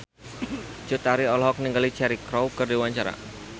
Cut Tari olohok ningali Cheryl Crow keur diwawancara